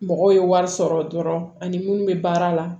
Mɔgɔw ye wari sɔrɔ dɔrɔn ani minnu bɛ baara la